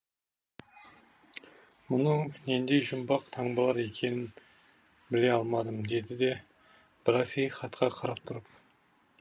мұның нендей жұмбақ таңбалар екенін біле алмадым деді де браси хатқа қарап тұрып